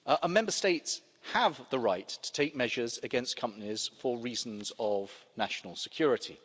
Member States have the right to take measures against companies, for reasons of national security.